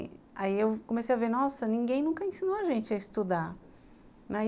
Aí eu comecei a ver, nossa, ninguém nunca ensinou a gente a estudar, né.